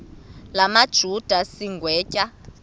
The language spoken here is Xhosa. la majuda sigwetywa